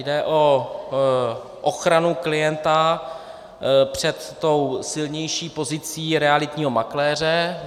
Jde o ochranu klienta před tou silnější pozicí realitního makléře.